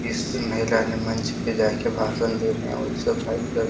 इस महिला ने मंच पे जाके भाषण दे रहे हैं और सब भाई सब --